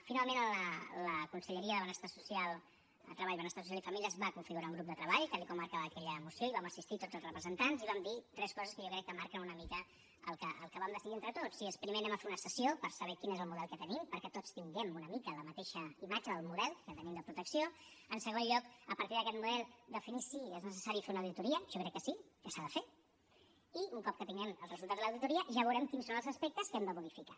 finalment la conselleria de benestar social treball benestar social i famílies va configurar un grup de treball tal com marcava aquella moció i hi vam assistir tots els representants i hi vam dir tres coses que jo crec que marquen una mica el que vam decidir entre tots i és primer anem a fer una sessió per saber quin és el model que tenim perquè tots tinguem una mica la mateixa imatge del model que tenim de protecció en segon lloc a partir d’aquest model definir si és necessari fer una auditoria jo crec que sí que s’ha de fer i un cop que tinguem el resultat de l’auditoria ja veurem quins són els aspectes que hem de modificar